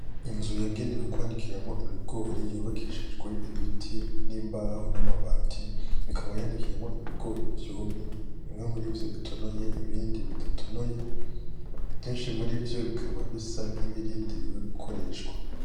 Inzu yagenewe kwanikiramwo ibigori. Yubakishijwe ibiti, n'imbaho, n'amabati. Ikaba yanikiyemwo ibigori vyumye. Bimwe murivyo bitonoye, ibindi bidatonoye, kenshi murivyo bikaba bisa nkibirindiriwe gukoreshwa.